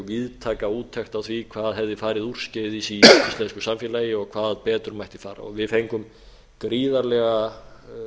víðtæka úttekt á því hvað hefði farið úrskeiðis í íslensku samfélagi og hvað betur mætti fara og við fengum gríðarlega